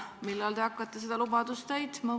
Millal te hakkate seda lubadust täitma?